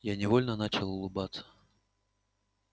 я невольно начал улыбаться